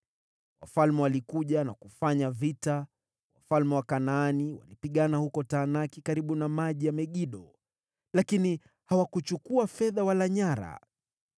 “Wafalme walikuja na kufanya vita; wafalme wa Kanaani walipigana huko Taanaki karibu na maji ya Megido, lakini hawakuchukua fedha wala nyara.